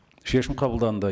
шешім қабылданды